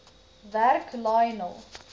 werk lionel